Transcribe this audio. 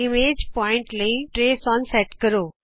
image ਬਿੰਦੂ ਲਈ trace on set ਕਰੋ